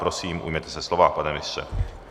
Prosím, ujměte se slova, pane ministře.